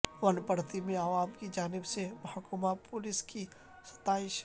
ونپرتی میں عوام کی جانب سے محکمہ پولیس کی ستائش